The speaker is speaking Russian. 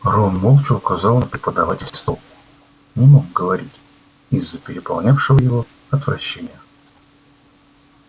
рон молча указал на преподавательский стол не мог говорить из-за переполнявшего его отвращения